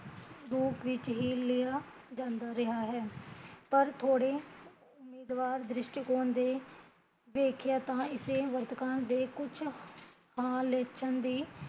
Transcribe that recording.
ਰੂਪ ਵਿੱਚ ਹੀਂ ਲਿਆ ਜਾਂਦਾ ਰਿਹਾ ਹੈ, ਪਰ ਥੋੜੇ ਉਮੀਦਵਾਰ ਦ੍ਰਿਸ਼ਟੀਕੋਣ ਦੇ ਵੇਖੀਆ ਤਾਂ ਇਸੇ ਵਰਤਕਾਲ ਦੇ ਕੁਛ ਹਾਲ ਦੇਖਣ ਦੀ